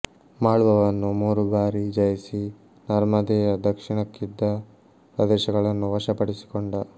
ಮಾಳ್ವವನ್ನು ಮೂರು ಭಾರಿ ಜಯಿಸಿ ನರ್ಮದೆಯ ದಕ್ಷಿಣಕ್ಕಿದ್ದ ಪ್ರದೇಶಗಳನ್ನು ವಶಪಡಿಸಿಕೊಂಡ